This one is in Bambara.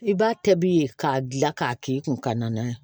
I b'a tɛ bi ye k'a gilan k'a k'i kun ka na ye